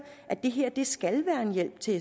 at det her skal være en hjælp til